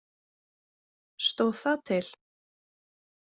Stóð það til?